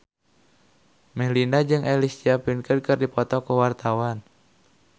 Melinda jeung Alicia Vikander keur dipoto ku wartawan